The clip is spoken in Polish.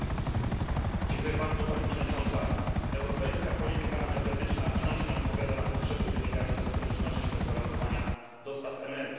Europejska polityka energetyczna wciąż nie odpowiada na potrzeby wynikające z konieczności zagwarantowania dostaw energii, a także kwestii bezpieczeństwa energetycznego.